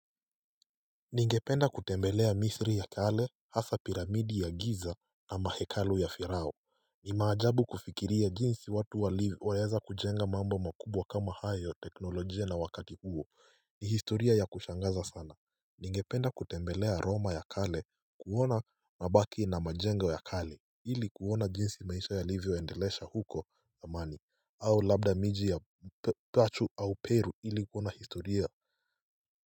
Ningependa kutembelea Misri ya kale hasa piramidi ya Giza na ama hekalu ya Firao ni maajabu kufikiria jinsi watu waweza kujenga mambo makubwa kama hayo ya teknolojia na wakati huo ni historia ya kushangaza sana. Ningependa kutembelea Roma ya kale kuona mabaki na majengo ya kale ili kuona jinsi maisha yalivyoendelesha huko zamani. Au labda miji ya Pachu au Peru ili kuona historia.